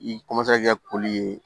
I kɛ koli ye